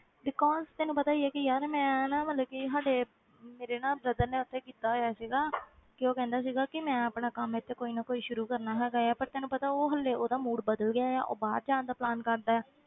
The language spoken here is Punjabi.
Because ਤੈਨੂੰ ਪਤਾ ਹੀ ਹੈ ਕਿ ਯਾਰ ਮੈਂ ਨਾ ਮਤਲਬ ਕਿ ਸਾਡੇ ਮੇਰੇ ਨਾ brother ਨੇ ਉੱਥੇ ਕੀਤਾ ਹੋਇਆ ਸੀਗਾ ਤੇ ਉਹ ਕਹਿੰਦਾ ਸੀਗਾ ਕਿ ਮੈਂ ਆਪਣਾ ਕੰਮ ਇੱਥੇ ਕੋਈ ਨਾ ਕੋਈ ਸ਼ੁਰੂ ਕਰਨਾ ਹੈਗਾ ਹੈ ਪਰ ਤੈਨੂੰ ਪਤਾ ਉਹ ਹਾਲੇ ਉਹਦਾ mood ਬਦਲ ਗਿਆ ਆ ਉਹ ਬਾਹਰ ਜਾਣ ਦਾ plan ਕਰਦਾ ਹੈ।